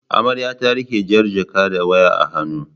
Amarya ta riƙe jar jaka da waya a hannu.